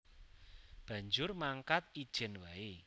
Banjur mangkat ijèn waé